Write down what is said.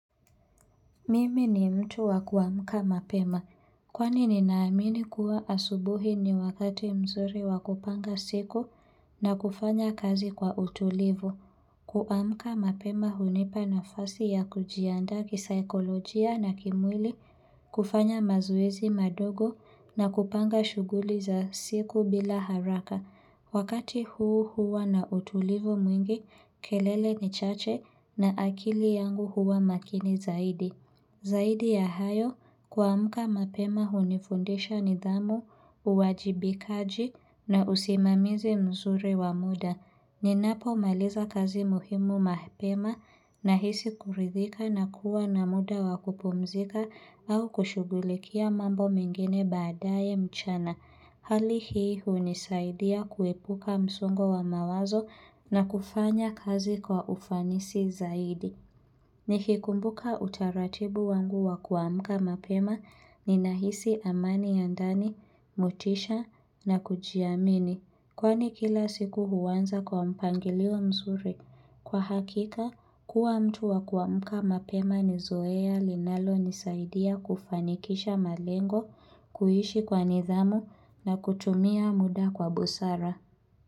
Mimi ni mtu wa kuamka mapema, kwani ninaamini kuwa asubuhi ni wakati mzuri wa kupanga siku na kufanya kazi kwa utulivu. Kuamka mapema hunipa nafasi ya kujiandaa kisaikolojia na kimwili, kufanya mazoezi madogo na kupanga shughuli za siku bila haraka. Wakati huu huwa na utulivu mwingi, kelele ni chache na akili yangu huwa makini zaidi. Zaidi ya hayo, kuamka mapema hunifundisha nidhamu, uwajibikaji na usimamizi mzuri wa muda. Ninapo maliza kazi muhimu mapema nahisi kuridhika na kuwa na muda wa kupumzika au kushugulikia mambo mengine baadaye mchana. Hali hii hunisaidia kuepuka msongo wa mawazo na kufanya kazi kwa ufanisi zaidi. Ni kikumbuka utaratibu wangu wa kuamuka mapema ninahisi amani ya ndani, motisha na kujiamini. Kwani kila siku huanza kwa mpangilio mzuri. Kwa hakika, kuwa mtu wa kuamuka mapema ni zoea linalonisaidia kufanikisha malengo, kuishi kwa nidhamu na kutumia muda kwa busara.